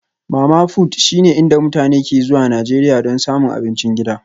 Mama-fut shine inda mutane ke zuwa Najeriya don samun abincin gida